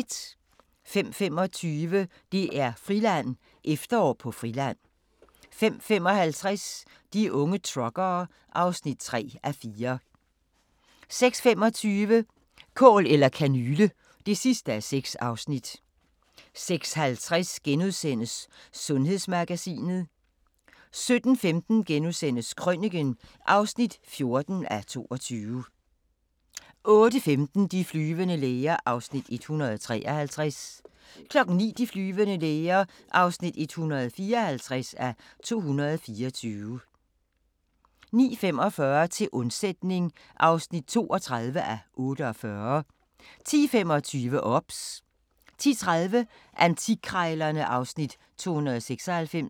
05:25: DR-Friland: Efterår på Friland 05:55: De unge truckere (3:4) 06:25: Kål eller kanyle (6:6) 06:50: Sundhedsmagasinet * 07:15: Krøniken (14:22)* 08:15: De flyvende læger (153:224) 09:00: De flyvende læger (154:224) 09:45: Til undsætning (32:48) 10:25: OBS 10:30: Antikkrejlerne (Afs. 296)